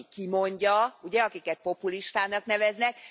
Az, aki kimondja, ugye, akiket populistának neveznek.